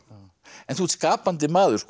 en þú ert skapandi maður